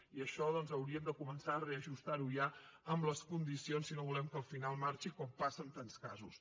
i això doncs hauríem de començar a reajustar ho ja amb les condicions si no volem que al final marxi com passa en tants casos